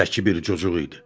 Zəki bir cocuq idi.